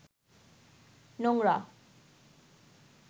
নোংরা